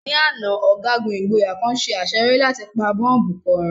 Ní àná, ọ̀gágun ìgboyà kan ṣe àṣeyọrí láti pa bọ́bù kan run.